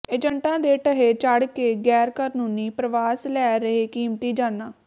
ਏਜੰਟਾਂ ਦੇ ਢਹੇ ਚੜ੍ਹ ਕੇ ਗੈਰ ਕਾਨੂੰਨੀ ਪ੍ਰਵਾਸ ਲੈ ਰਿਹੈ ਕੀਮਤੀ ਜਾਨਾਂ